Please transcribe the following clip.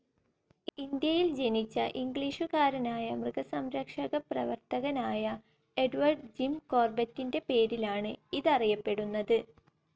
ഇന്ത്യയിൽ ജനിച്ച ഇംഗ്ലീഷുകാരനായ മൃഗസം‌രക്ഷകപ്രവർത്തകനായ എഡ്വേർഡ് ജിം കോർബറ്റിന്റെ പേരിലാണ് ഇതറിയപ്പെടുന്നത്.